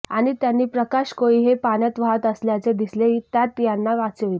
आणि त्यांनी प्रकाश कोळी हे पाण्यात वाहत असल्याचे दिसले त्यात यांना वाचविले